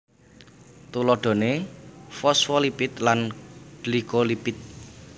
Tuladhané fosfolipid lan glikolipid